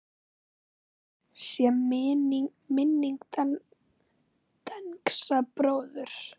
Blessuð sé minning Dengsa bróður.